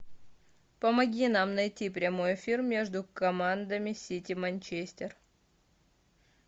помоги нам найти прямой эфир между командами сити манчестер